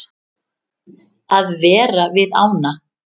Að vera við ána.